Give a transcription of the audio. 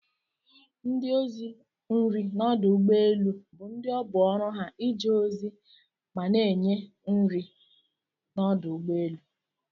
Ndi ọzi nri n'ọdụ egbọ elụ bu ndi ọbụ oru ha ije ozi mana nye kwa nri n'ọdụ ụgbọ elu.